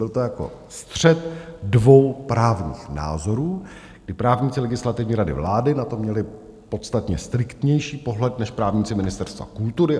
Byl to jako střet dvou právních názorů, kdy právníci Legislativní rady vlády na to měli podstatně striktnější pohled než právníci Ministerstva kultury.